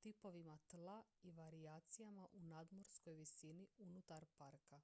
tipovima tla i varijacijama u nadmorskoj visini unutar parka